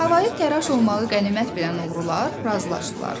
Havayı təraş olmağı qənimət bilən oğrular razılaşdılar.